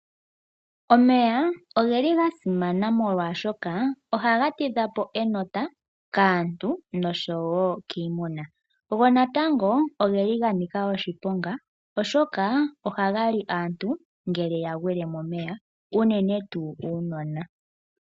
Omeya ogeli ga simana molwaashoka ohaga tidha po enota kaantu noshowo kiimuna, go natango ogeli ga nika oshiponga, oshoka ohaga li aantu ngele ya gwile momeya, unene tuu uunona.